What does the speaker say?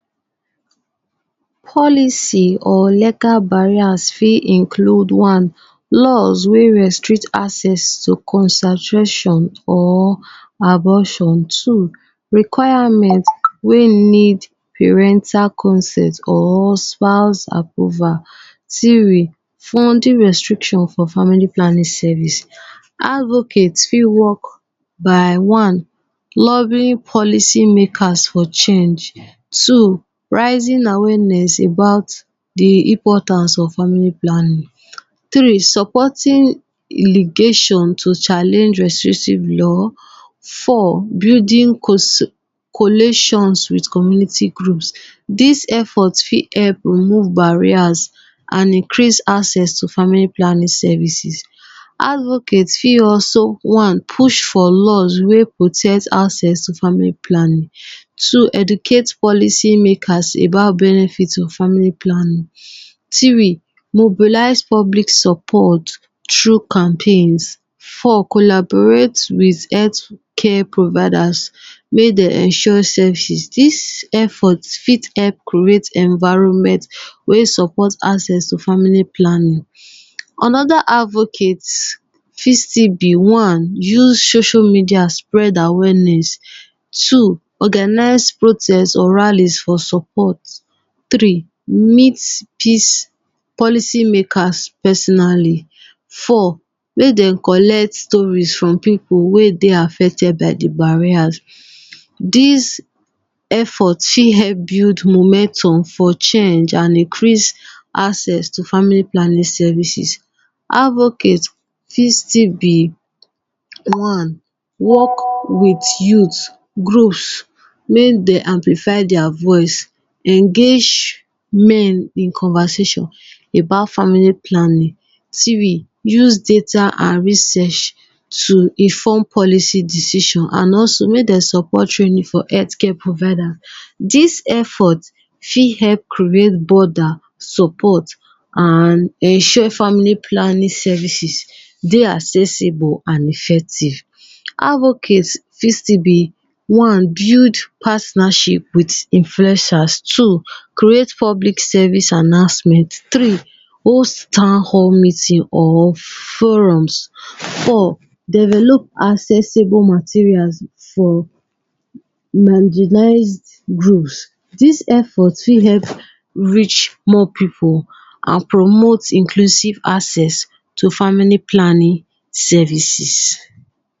Policy or legal barrier fit include one, law wey restrict access to contraception or abortion. Two, requirement wey need parental consent or spouse approval. Three, funding restriction for family planning service. Advocate fit work by one, lovely policy maker for change. Two, raising awareness about de importance of family planning. Three, supporting ligation to challenge restrictive law. Four, building collation with community group. Dis effort fit help remove barriers and increase access to family planning services. Advocate fit also one, push for laws wey protect access to family planning. Two, educate policy makers about benefit of family planning. Three, mobilize public supports through campaigns. four, collaborate with health care providers wey de ensure services. Dis effort fit help create environment wey support access to family planning. Another advocate fit still be one, use social media spread awareness. Two, organize protest or rallys for support. Three, meet peace policy makers personally. Four, make dem collect stories from pipu wey dey affected by de barriers. Dis effort fit help build momentum for change and increase access to family planning services. advocate fit still be one, work with youth, groups make dem amplify their voice engage men in conversation about family planning. Three use data and research to inform policy decision and also make dem support training for health care provider. Dis effort fit help create bother, support and ensure family planning services dey accessible and effective. Advocate fit still be one, build partnership with influencers. Two create public service announcement. Three hold town hall meeting or forums. Four develop accessible materials for marginalized group. Dis effort fit help reach much pipu and promote inclusive access to family planning services